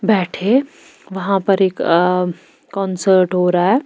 बैठे वहाँ पर एक कॉन्सर्ट हो रहा है।